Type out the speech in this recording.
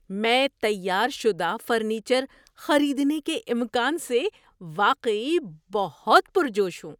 میں تیار شدہ فرنیچر خریدنے کے امکان سے واقعی بہت پرجوش ہوں۔